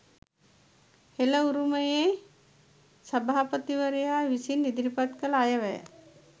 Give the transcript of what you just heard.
හෙළ උරුමයේ සභාපතිවරයා විසින් ඉදිරිපත් කළ අයවැය